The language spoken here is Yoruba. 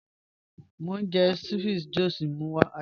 Mo n jẹ̀ ceviche Josh mú wa.